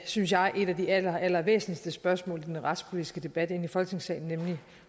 synes jeg et af de allerallervæsentligste spørgsmål i den retspolitiske debat ind i folketingssalen nemlig